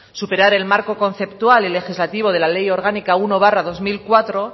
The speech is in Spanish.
superar el marco conceptual y legislativo de la ley orgánica uno barra dos mil cuatro